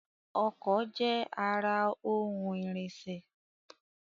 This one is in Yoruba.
Ọkọ̀ je ara ohun ìrìnṣẹ̀